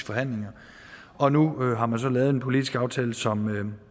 forhandlinger og nu har man så lavet en politisk aftale som